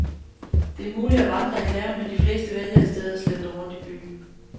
Det er muligt at vandre i haven, men de fleste vælger i stedet at slentre rundt i byen.